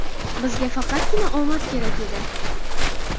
Bizga faqatgina omad kerak edi.